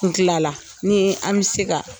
N tilala, an bɛ se ka